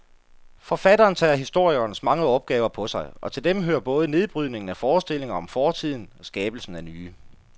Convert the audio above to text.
Forfatteren tager historikerens mange opgaver på sig, og til dem hører både nedbrydningen af forestillinger om fortiden skabelsen af nye.